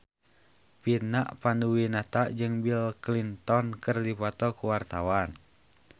Vina Panduwinata jeung Bill Clinton keur dipoto ku wartawan